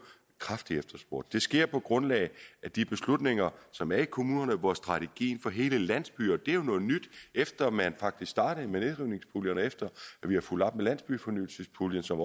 kraftigt efterspurgt det sker på grundlag af de beslutninger som er i kommunerne hvor strategier for hele landsbyer det er jo noget nyt efter at man faktisk startede med nedrivningspuljen og efter at vi har fulgt op med landsbyfornyelsespuljen som